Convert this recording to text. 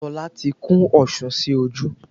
Tọ́lá ti kún osùn sí ojú